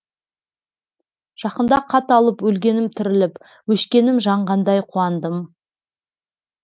жақында хат алып өлгенім тіріліп өшкенім жанғандай қуандым